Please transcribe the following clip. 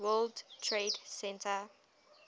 world trade center